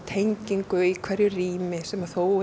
tengingu í hverju rými sem þó